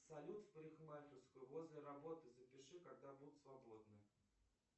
салют в парикмахерскую возле работы запиши когда будет свободно